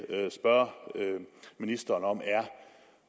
spørge ministeren om